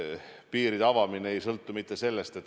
Millal nad pääsevad liikuma?